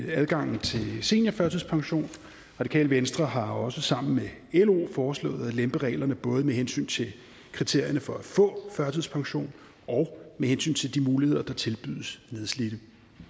adgangen til seniorførtidspension radikale venstre har også sammen med lo foreslået at lempe reglerne både med hensyn til kriterierne for at få førtidspension og med hensyn til de muligheder der tilbydes nedslidte